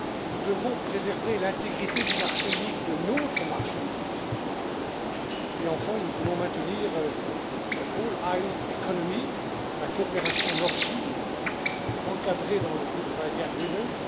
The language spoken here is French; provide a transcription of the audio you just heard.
Nous devons préserver l'intégrité du marché unique, de notre marché unique, et enfin, nous voulons maintenir le all island economy la coopération Nord Sud, encadrée dans le Good Friday Agreement